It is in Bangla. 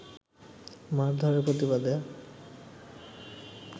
মারধরের প্রতিবাদে